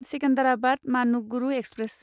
Secunderabad Manuguru express